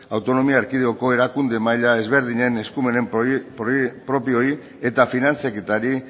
autonomia erkidegoko erakunde maila ezberdinen eskumen propioei eta finantzaketari